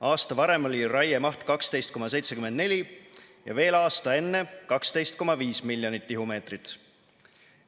Aasta varem oli raiemaht 12,74 ja veel aasta enne 12,5 miljonit tihumeetrit.